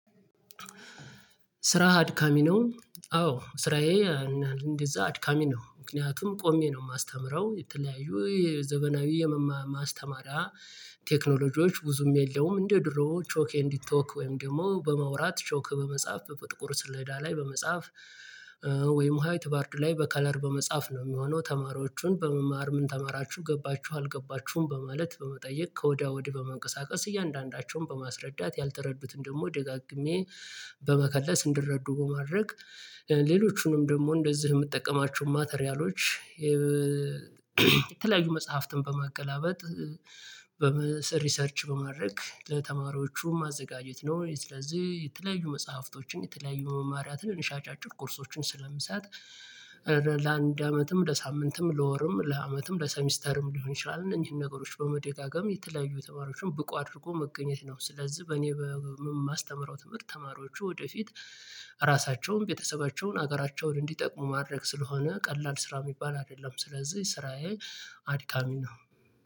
ስራህ አድካሚ ነው? አዎ ስራዬ እንደዛ አድካሚ ነው። ምክንያቱም ቆሜ ነው የማስተምረው የተለያዩ የዘመናዊ የማስተማሪያ ቴክኖሎጂዎች ብዙም የለውም እንደ ድሮ ቾክ ኤንድ ቶክ ወይም ደግሞ በማውራት ቾክ በመጻፍ በጥቁር ስልዳ ላይ በመጻፍ ወይም ሃይት ቦርድ ላይ በከለር በመጻፍ ነው የሚሆነው ተማሪዎቹን በመማር ምን ተማራችሁ ገባችሁ አልገባችሁም በማለት በመጠየቅ ከወዲያ ወዲህ በመንቀሳቀስ እያንዳንዳቸውን በማስረዳት ያልተረዱትን ደግሞ ደጋግሜ በመከለስ እንዲረዱ በማድረግ። ሌሎቹንም ደግሞ እንደዚህ የምጠቀማቸውን ማቴሪያሎች። የተለያዩ መጽሐፍትን በማገላበጥ ሪሰርች በማድረግ ለተማሪዎቹም ማዘጋጀት ነው። ስለዚህ የተለያዩ መጽሐፍቶችን የተለያዩ መማሪያ ትንንሽ አጫጭር ኮርሶችን ስለምሰጥ ለአንድ አመትም ለሳምንትም ለወርም ለአመትም ለሰሚስተርም ሊሆን ይችላል እነዚህን ነገሮች በመደጋገም የተለያዩ ተማሪዎችን ብቁ አድርጎ መገኘት ነው። ስለዚህ በእኔ በማስተምረው ትምህርት ተማሪዎቹ ወደፊት ራሳቸውን ቤተሰባቸውን ሀገራቸውን እንዲጠቅሙ ማድረግ ስለሆነ ቀላል ስራ የሚባል አይደለም። ስለዚህ ስራዬ አድካሚ ነው።